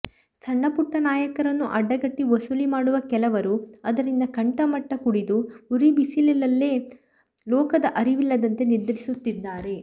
ಸಣ್ಣಪುಟ್ಟ ನಾಯಕರನ್ನು ಅಡ್ಡಗಟ್ಟಿ ವಸೂಲಿ ಮಾಡುವ ಕೆಲವರು ಅದರಿಂದ ಕಂಠಮಟ್ಟ ಕುಡಿದು ಉರಿಬಿಸಿಲಲ್ಲೇ ಲೋಕದ ಅರಿವಿಲ್ಲದಂತೆ ನಿದ್ರಿಸುತ್ತಿದ್ದಾರೆ